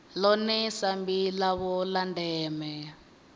ḽone sambi ḽavho ḽa ndeme